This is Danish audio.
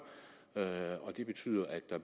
det betyder at der